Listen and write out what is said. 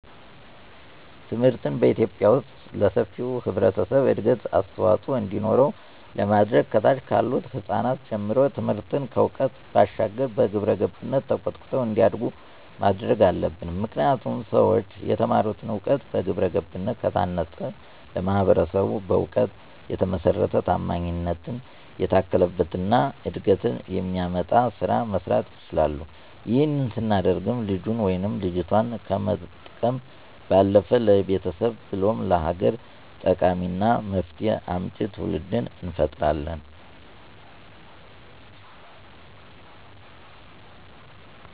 ትምህርትን በኢትዮጲያ ዉስጥ ለሰፊው ህብረተሰብ እድገት አስተዋፅዖ እንዲኖረው ለማድረግ ከታች ካሉት ህጻናት ጀምሮ ትምህርትን ከዕውቀት ባሻገር በግብረገብነት ተኮትኩተው እንዲያድጉ ማድረግ አለብን። ምክንያቱም ሠዎች የተማሩትን እውቀት በግብረገብ ከታነፀ ለማህበረሰቡ በእውቀት የተመሰረተ፣ ታማኝነት የታከለበት እና እድገትን የሚያመጣ ስራ መስራት ይችላል። ይህንን ስናደርግም ልጁን ወይም ልጆቷን ከመጥቀም ባለፈ ለቤተሰብ ብሎም ለሀገር ጠቃሚና መፍትሄ አምጪ ትውልድ እንፈጥራለን።